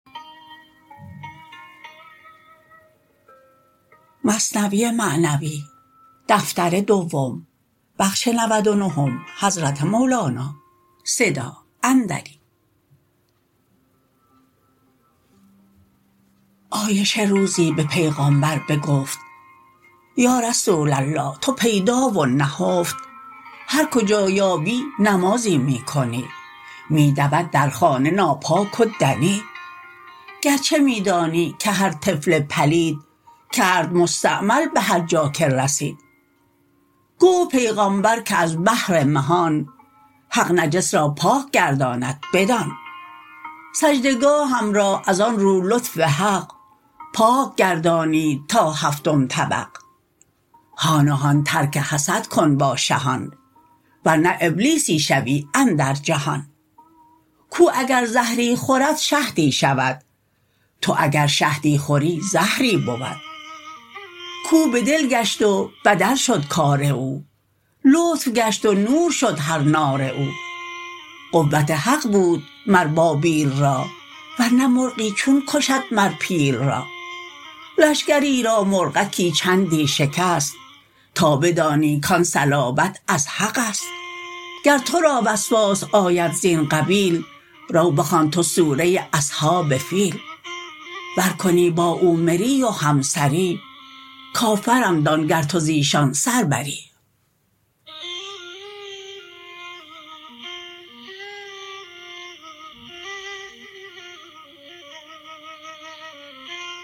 عایشه روزی به پیغامبر بگفت یا رسول الله تو پیدا و نهفت هر کجا یابی نمازی می کنی می دود در خانه ناپاک و دنی گرچه می دانی که هر طفل پلید کرد مستعمل به هرجا که رسید گفت پیغامبر که از بهر مهان حق نجس را پاک گرداند بدان سجده گاهم را از آن رو لطف حق پاک گردانید تا هفتم طبق هان و هان ترک حسد کن با شهان ور نه ابلیسی شوی اندر جهان کاو اگر زهری خورد شهدی شود تو اگر شهدی خوری زهری بود کاو بدل گشت و بدل شد کار او لطف گشت و نور شد هر نار او قوت حق بود مر بابیل را ور نه مرغی چون کشد مر پیل را لشکری را مرغکی چندی شکست تا بدانی کان صلابت از حقست گر تو را وسواس آید زین قبیل رو بخوان تو سوره اصحاب فیل ور کنی با او مری و همسری کافرم دان گر تو زیشان سر بری